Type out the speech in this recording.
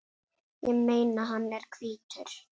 Ég meina, hann er hvítur!